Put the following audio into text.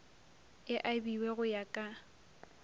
e abiwe go ya ka